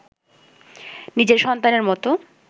নিজের সন্তানের মতো